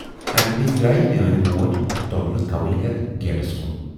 اَمی وِزِ درایہِ میٲنۍ موج توملہٕ کوٕلۍ ہٮ۪تھ گیٹس کُن۔